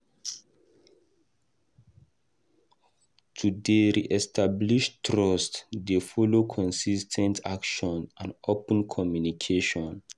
To dey re-establish trust dey follow consis ten t action and open communication.